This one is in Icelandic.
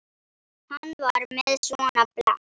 Hann var með svona blett.